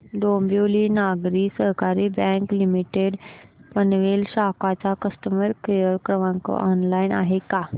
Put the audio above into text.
Dombivli Nagari Sahakari bank limited Panvel शाखा चा customer care क्रमांक ऑनलाइन आहे का